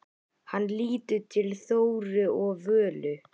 Hann lítur til Þóru og Völu.